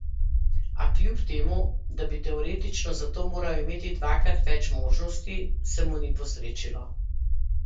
A kljub temu, da bi teoretično zato moral imeti dvakrat več možnosti, se mu ni posrečilo.